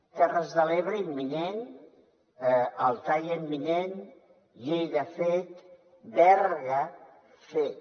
terres de l’ebre imminent althaia imminent lleida fet berga fet